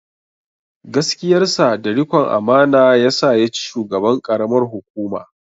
Gaskiyarsa da rikon amana yasa ya ci shugaban ƙaramar hukuma.